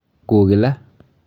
Ku kila.